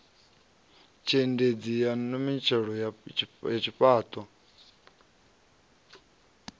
tshiendedzi na mimodele yo fhaṱwaho